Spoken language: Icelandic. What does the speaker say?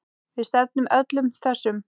Við stefnum öllum þessum